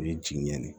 U ye ji ɲɛni